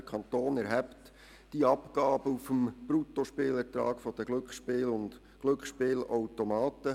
Der Kanton erhebt die Abgabe auf dem Bruttospielertrag der Glücksspiele und Glücksspielautomaten.